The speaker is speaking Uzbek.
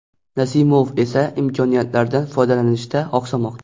Nasimov esa imkoniyatlardan foydalanishda oqsamoqda.